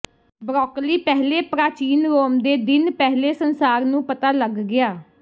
broccoli ਪਹਿਲੇ ਪ੍ਰਾਚੀਨ Rome ਦੇ ਦਿਨ ਪਹਿਲੇ ਸੰਸਾਰ ਨੂੰ ਪਤਾ ਲੱਗ ਗਿਆ